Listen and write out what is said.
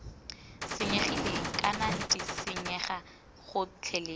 senyegileng kana d senyega gotlhelele